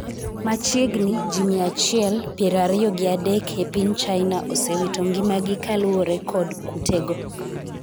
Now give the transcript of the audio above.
machiegni ji mia achiel ,piero ariyo gi adek e piny China osewito ngimagi kaluwore kod kutego